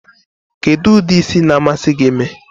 Kedu udi ịsị na-amasi gi ime?